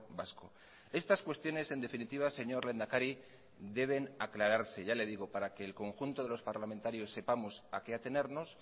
vasco estas cuestiones en definitiva señor lehendakari deben aclararse para que el conjunto de los parlamentarios sepamos a qué atenernos